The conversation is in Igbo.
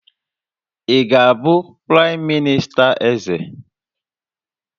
Ị ga-abụ praịm minista Eze?